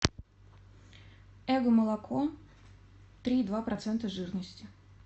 эго молоко три и два процента жирности